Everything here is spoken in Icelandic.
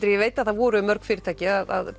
ég veit að það voru mörg fyrirtæki að